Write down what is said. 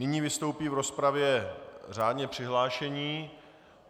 Nyní vystoupí v rozpravě řádně přihlášení.